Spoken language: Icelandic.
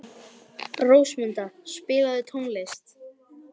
Rósmunda, spilaðu tónlist.